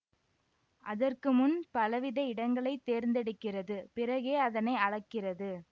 அதற்கு முன் பலவித இடங்களை தேர்ந்தெடுக்கிறது பிறகே அதனை அளக்கிறது